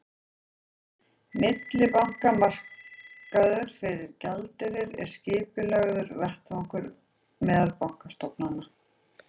Millibankamarkaður fyrir gjaldeyri er skipulagður vettvangur meðal bankastofnana.